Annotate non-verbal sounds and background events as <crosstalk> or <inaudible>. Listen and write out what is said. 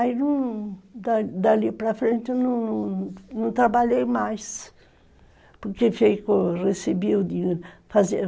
Aí num, dali dali para frente eu não trabalhei mais, <unintelligible>